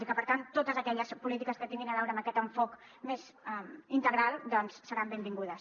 i per tant totes aquelles polítiques que tinguin a veure amb aquest enfocament més integral seran benvingudes